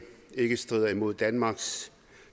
ikke strider mod danmarks